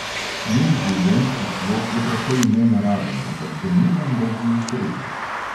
Njen življenjski slog je precej nenaraven, ampak domnevam, da ji ustreza.